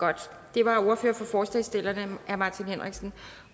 det var ordføreren for forslagsstillerne herre martin henriksen